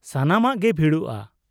ᱥᱟᱱᱟᱢᱟᱜ ᱜᱮ ᱵᱷᱤᱲᱚᱜᱼᱟ ᱾